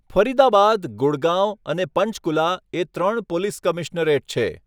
ફરીદાબાદ, ગુડગાંવ અને પંચકુલા એ ત્રણ પોલીસ કમિશનરેટ છે.